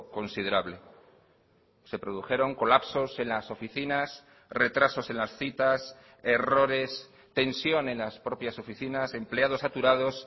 considerable se produjeron colapsos en las oficinas retrasos en las citas errores tensión en las propias oficinas empleados saturados